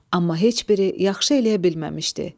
Amma heç biri yaxşı eləyə bilməmişdi.